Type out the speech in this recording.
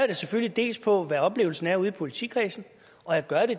det selvfølgelig dels på hvad oplevelsen er ude i politikredsene